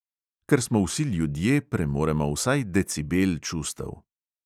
Ker smo vsi ljudje, premoremo vsaj decibel čustev.